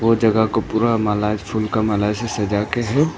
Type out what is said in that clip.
जगह को पूरा माला फूल का माला से सजा के है।